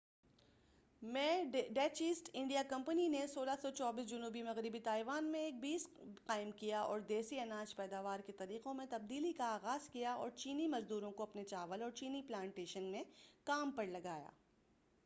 1624 میں Dutch East India company نے جنوب مغربی تائیوان میں ایک بیس قائم کیا اور دیسی اناج پیداوار کے طریقوں میں تبدیلی کا آغاز کیا اور چینی مزدوروں کو اپنے چاول اورچینی پلانٹیشن میں کام پرلگایا